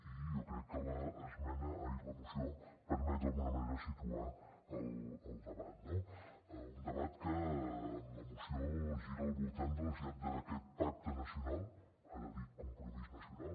i jo crec que la moció permet d’alguna manera situar el debat no un debat que en la moció gira al voltant de la necessitat d’aquest pacte nacional ara dit compromís nacional